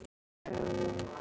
Kolka, lækkaðu í græjunum.